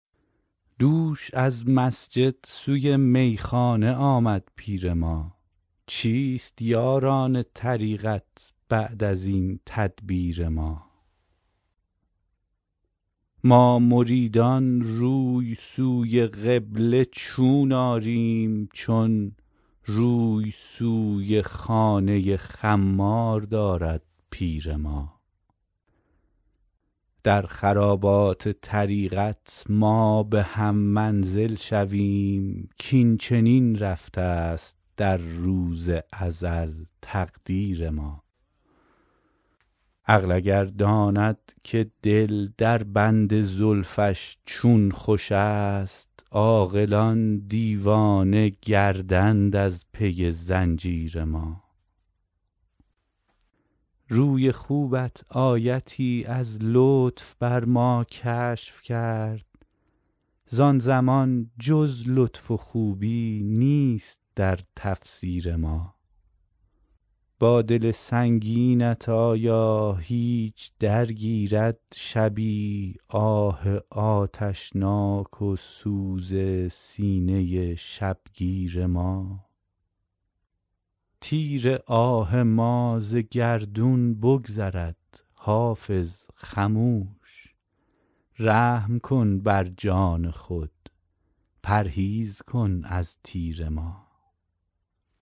دوش از مسجد سوی میخانه آمد پیر ما چیست یاران طریقت بعد از این تدبیر ما ما مریدان روی سوی قبله چون آریم چون روی سوی خانه خمار دارد پیر ما در خرابات طریقت ما به هم منزل شویم کاین چنین رفته است در عهد ازل تقدیر ما عقل اگر داند که دل در بند زلفش چون خوش است عاقلان دیوانه گردند از پی زنجیر ما روی خوبت آیتی از لطف بر ما کشف کرد زان زمان جز لطف و خوبی نیست در تفسیر ما با دل سنگینت آیا هیچ درگیرد شبی آه آتشناک و سوز سینه شبگیر ما تیر آه ما ز گردون بگذرد حافظ خموش رحم کن بر جان خود پرهیز کن از تیر ما